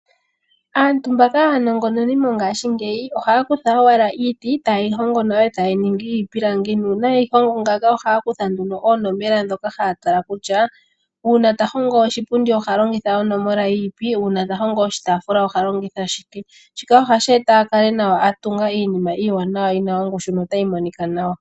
Aantu mboka aanongononi mongashingeyi, ohaya kutha owala iiti, taye yi hongo nawa opo ya ninge iipilangi. Uuna yeyi hongo ngaaka, ohaya kutha nduno, oonomola ndhoka haya tala kutya, uuna ta hongo oshipundi oha longitha onomola yini, uuna ta hongo oshitaafula oha longitha onomola yini. Shika ohashi eta ya kale ya honga iinima iiwanawa yi na ongushu notayi monika nawa.